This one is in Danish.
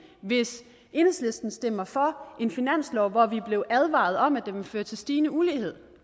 hvis enhedslisten stemmer for en finanslov hvor vi blev advaret om at den ville føre til stigende ulighed